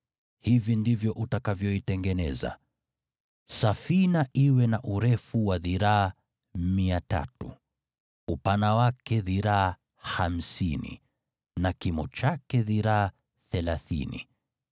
Hivi ndivyo utakavyoitengeneza: Safina iwe na urefu wa dhiraa 300, upana wake dhiraa hamsini na kimo chake dhiraa thelathini.